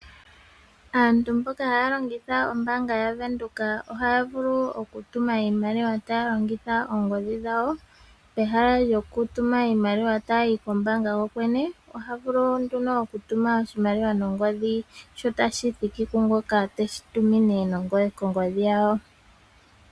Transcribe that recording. Aantu mboka haa longitha ombaanga yaVenduka ohaa vulu okutuma iimaliwa taa longitha oongodhi dhawo pehala lyokutuma iimaliwa tayi kombaanga kokwene oha vulu wo nduno okutuma oshimaliwa nongodhi dho tashi thiki kungoka tashi tumine kongodhi yawo.